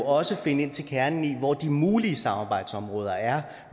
også finde ind til kernen i hvor de mulige samarbejdsområder er